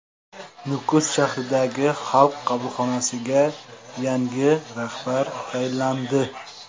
Nukus shahridagi Xalq qabulxonasiga yangi rahbar tayinlandi.